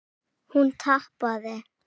Hún tapaði.